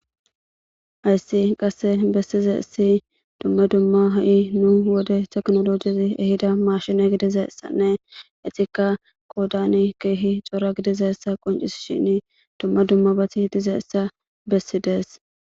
Hays qase besizays dumma dumma ha'i nu wode tekinolojezi ehida mashine gidizaysanne etika qodani Keehi cora gidizaysa qoncisishn dumma dummabati dizaysa besides.